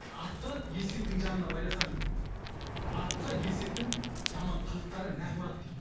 атты есектің жанына байласаң дейді атқа есектің жаман қылықтары ұрады дейді